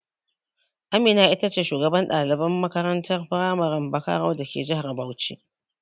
Amina ce shugaban ɗaliban makarantar firamaren Bakaro dake jihar Bauchi.